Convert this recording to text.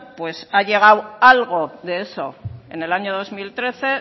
ha llegado algo de eso en el año dos mil trece